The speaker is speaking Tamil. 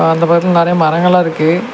அந்த பக்கத்துல நறைய மரங்கெல்லா இருக்கு.